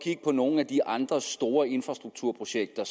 nogle af de andre store infrastrukturprojekter